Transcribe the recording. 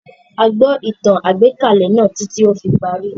Áà gbọ́ ìtàn-àgbékalẹ̀ náà títí tí ó fi parí